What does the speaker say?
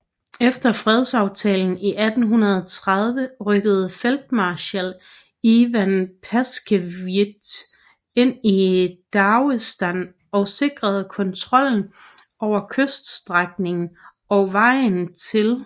Efter fredsaftalen i 1830 rykkede feltmarskal Ivan Paskevitj ind i Dagestan og sikrede kontrollen over kyststrækningen og vejen til Persien